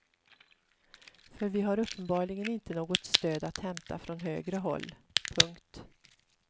För vi har uppenbarligen inte något stöd att hämta från högre håll. punkt